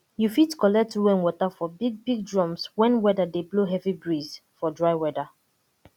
you fit collect rain water for big big drums wen weda dey blow heavy breeze for dry weda